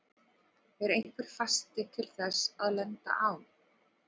Er einhver fasti til þess að lenda á?